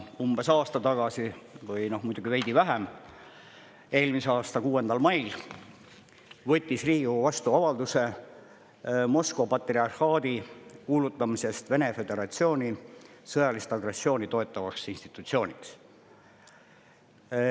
Umbes aasta või veidi vähem tagasi, eelmise aasta 6. mail võttis Riigikogu vastu avalduse Moskva patriarhaadi kuulutamisest Vene föderatsiooni sõjalist agressiooni toetavaks institutsiooniks.